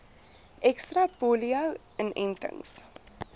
ekstra polio inentings